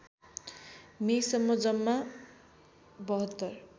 मेसम्म जम्मा ७२